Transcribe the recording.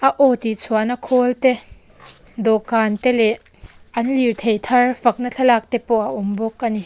a aw tih chhuahna khawl te dawhkan te leh an lirthei thar fakna thlalak te pawh a awm bawk a ni.